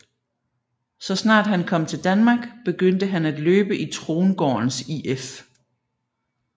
Så snart han kom til Danmark begyndte han at løbe i Trongårdens IF